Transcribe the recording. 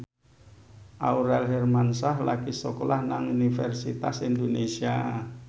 Aurel Hermansyah lagi sekolah nang Universitas Indonesia